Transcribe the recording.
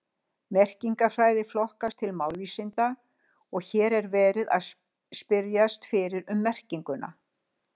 Merkingarfræði flokkast til málvísinda og hér er verið að spyrjast fyrir um merkingu.